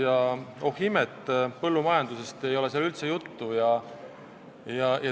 Ja oh imet, põllumajandusest ei ole seal üldse juttu!